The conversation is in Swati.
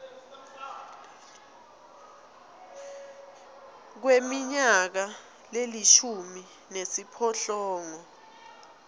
kweminyaka lelishumi nesiphohlongo